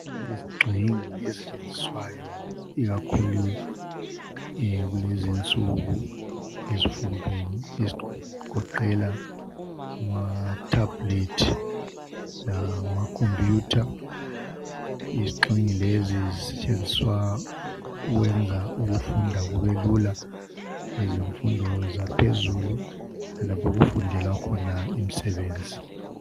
Izigxingi ezisetshenziswayo ikakhulu kulezinsuku ezifundweni ezigoqela amathebhulethi lamakhompuyutha izigxingi lezi zisetshenziswa ukwenza ukufunda kube lula kwezemfundo zaphezulu okufundela khona imisebenzi